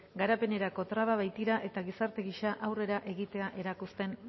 garapenerako traba baitira eta gizarte gisa aurrera egitea eragozten